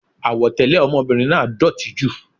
Àwọ̀ tẹlẹ ọmọbìnrin náà dótì jù.